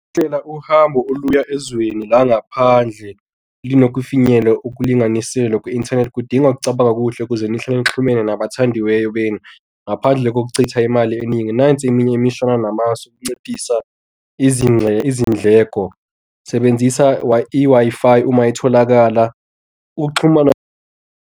Hlela uhambo oluya ezweni langaphandle linokufinyela okulinganiselwa kwi-inthanethi kudinga ukucabanga okuhle ukuze ngihlale ngixhumene nabathandiweyo beni. Ngaphandle kokuchitha imali eningi nansi eminye imihlola namasu ukunciphisa izingxenye izindleko. Sebenzisa i-Wi-Fi uma itholakala. Ukuxhumana.